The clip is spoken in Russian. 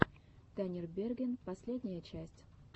танирберген последняя часть